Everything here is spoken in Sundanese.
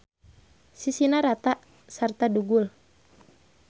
Sisina rata sarta dugul.